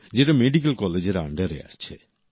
যেটা মেডিকেল কলেজের আন্ডারে আসে